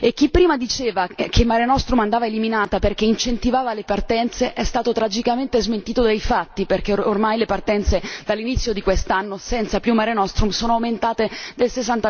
Chi prima diceva che Mare Nostrum andava eliminata perché incentivava le partenze è stato tragicamente smentito dai fatti, perché ormai le partenze, dall'inizio di quest'anno, senza più Mare Nostrum, sono aumentate del